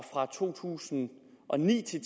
fra to tusind og ni til